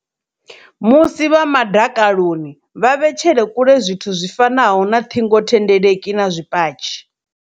Musi vha madakaloni, vha vhetshele kule zwithu zwi fanaho na ṱhingo thendeleki na zwipatshi.